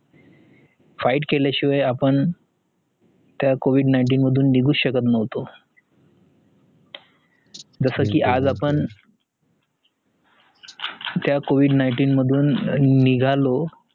fight केलाशिवाय अपण त्या covid nineteen मधनं निगु शकत नव्हतो जसा की आपण त्या covid nineteen मधुन निघालो